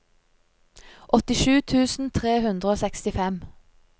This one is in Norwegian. åttisju tusen tre hundre og sekstifem